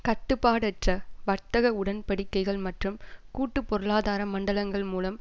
கட்டுப்பாடற்ற வர்த்தக உடன்படிக்கைகள் மற்றும் கூட்டு பொருளாதார மண்டலங்கள் மூலம்